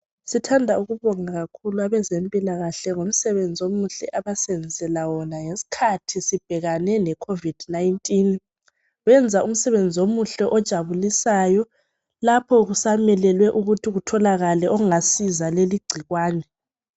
Sithanda ukubonga kakhulu abezempilakahle ngomsebenzi omuhle abasenzela wona ngesikhathi sibhekane leCovid 19. Benza umsebenzi omuhle ojabulisayo lapho kusamelelwe ukuthi kutholakale ongasiza kuleli gcikwane.